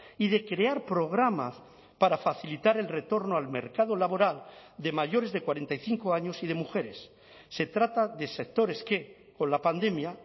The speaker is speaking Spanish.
y de crear programas para facilitar el retorno al mercado laboral de mayores de cuarenta y cinco años y de mujeres se trata de sectores que con la pandemia